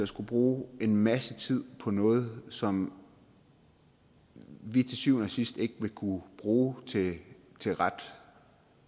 skulle bruge en masse tid på noget som vi til syvende og sidst ikke vil kunne bruge til til ret